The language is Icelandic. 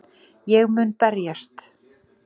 Ég mun berjast.